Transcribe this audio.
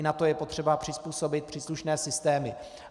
I na to je potřeba přizpůsobit příslušné systémy.